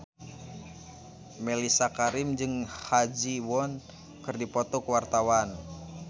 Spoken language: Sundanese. Mellisa Karim jeung Ha Ji Won keur dipoto ku wartawan